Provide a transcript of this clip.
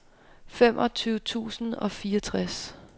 femogtyve tusind og fireogtres